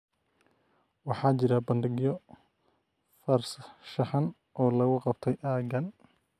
waxaa jira bandhigyo farshaxan oo lagu qabtay aaggan